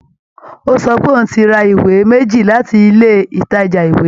Ó sọ pé òun ti ra ìwé méjì láti ilé ìtajà ìwé